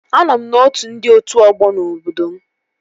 Anọ m n'otu ndị otu ọgbọ n'obodo m